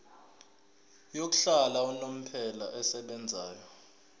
yokuhlala unomphela esebenzayo